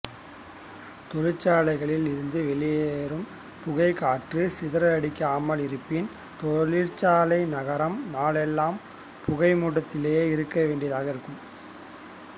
தொழிற்சாலைகளிலிருந்து வெளிவரும் புகையைக் காற்று சிதறடிக்காமல் இருப்பின் தொழிற்சாலை நகரம் நாளெல்லாம் புகை மூட்டத்திலேயே இருக்க வேண்டியிருக்கும்